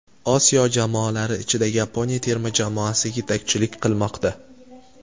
Osiyo jamoalari ichida Yaponiya terma jamoasi yetakchilik qilmoqda.